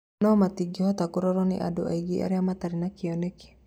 No matingĩhoteka kũrorwo nĩ andũ aingĩ arĩa matari na kioneki